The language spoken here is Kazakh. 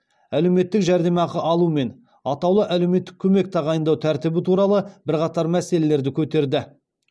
әлеуметтік жәрдемақы алу мен атаулы әлеуметтік көмек тағайындау тәртібі туралы бірқатар мәселелерді көтерді